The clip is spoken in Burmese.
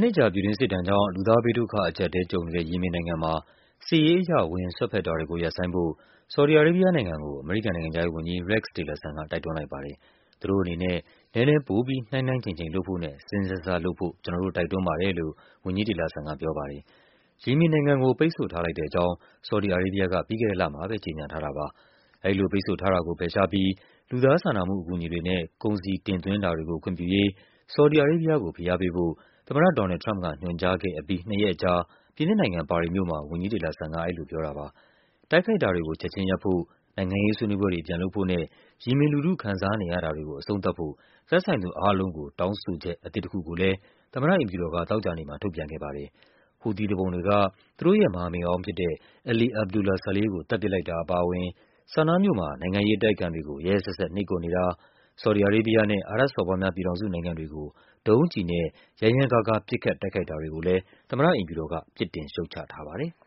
နှစ်ကြာ ပြည်တွင်းစစ်ဒဏ်ကြောင့် လူသားဘေးဒုက္ခအကျပ်အတည်းကြုံနေတဲ့ ယီမင်နိုင်ငံမှာ စစ်ရေးအရ ဝင်စွက်ဖက်တာတွေ ကိုရပ်ဆိုင်းဖို့ ဆော်ဒီ အာရေးဘီးယားနိုင်ငံကို အမေရိကန်နိုင်ငံခြားရေးဝန်ကြီး Rex Tillerson က တိုက်တွန်းလိုက်ပါတယ်။ သူတို့အနေနဲ့ နည်းနည်းပိုပြီး နှိုင်းနှိုင်းချိန်ချိန်လုပ်ဖို့နဲ့ စဉ်းစဉ်းစားစားလုပ်ဖို့ ကျနော်တို့ တိုက်တွန်းပါတယ်လို့ ဝန်ကြီး Tillerson က ပြောပါတယ်။ ယီမင်နိုင်ငံကို ပိတ်ဆို့ထားလိုက်တဲ့အကြောင်း ဆော်ဒီအာရေးဘီးယားက ပြီးခဲ့တဲ့လမှာ ကြေညာခဲ့တာပါ။ အဲဒီလိုပိတ်ဆို့ထားတာကို ဖယ်ရှားပြီး လူသားစာနာမှုအကူအညီတွေနဲ့ ကုန်စည်တင်သွင်းတာတွေကို ခွင့်ပြုရေး ဆော်ဒီအာရေး ဘီးယားကို ဖိအားပေးဖို့ သမ္မတ ဒေါ်နယ်လ်ဒ် ထရမ့်ပ်က ညွှန်ကြားခဲ့ပြီး နှစ်ရက်အကြာ ပြင်သစ်နိုင်ငံ၊ ပါရီမြို့မှာ ဝန်ကြီး Tillerson က အဲဒီလိုပြောတာပါ။ တိုက်ခိုက်တာတွေကို ချက်ခြင်းရပ်ဖို့၊ နိုင်ငံရေးဆွေးနွေးပွဲတွေ ပြန်လုပ်ဖို့နဲ့ ယီမင်လူထုခံစားနေရတာတွေကို အဆုံးသတ်ဖို့ သက်ဆိုင်သူအားလုံးကို တောင်းဆိုချက်အသစ်တခုကိုလဲ သမ္မတအိမ်ဖြူတော်က သောကြာနေ့မှာ ထုတ်ပြန်ခဲ့ပါတယ်။ ဟူသီသူပုန်တွေက သူတို့ရဲ့ မဟာမိတ်ဟောင်းဖြစ်တဲ့ Ali Abdullah Saleh ကို သတ်ပစ်လိုက်တာအပါအဝင် ဆာနားမြို့မှာ နိုင်ငံ ရေးအတိုက်အခံတွေကို ရက်ရက်စက်စက် နှိပ်ကွပ်နေတာ၊ ဆော်ဒီအာရေးဘီးယားနဲ့ အာရပ်စော်ဘွားများ ပြည်ထောင်စုနိုင်ငံ တွေကို ဒုံးကျည်နဲ့ ရမ်းရမ်းကားကား ပစ်ခတ် တိုက်ခိုက်တာတွေကိုလဲ သမ္မတအိမ်ဖြူတော်က ပြစ်တင် ရှုတ်ချထားပါတယ်။